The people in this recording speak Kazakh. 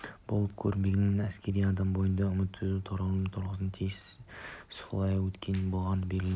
болып көрінбегенімен әскери адам бойында үміт үзу торығушылық туғызбауға тиіс солай болғанмен де ол белгілі